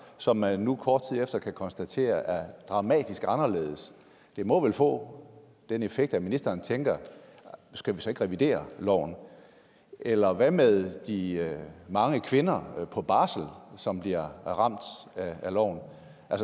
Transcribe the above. som man nu kort tid efter kan konstatere er dramatisk anderledes det må vel få den effekt at ministeren tænker skal vi så ikke revidere loven eller hvad med de mange kvinder på barsel som bliver ramt af loven